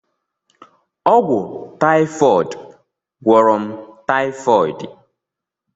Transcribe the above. Ọgwụ taifọd gwọrọ m taifọdi.